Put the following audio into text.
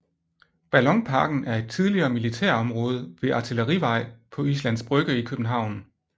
Ballonparken er et tidligere militærområde ved Artillerivej på Islands Brygge i København